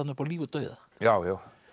upp á líf og dauða já já